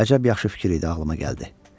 Əcəb yaxşı fikir idi ağılıma gəldi.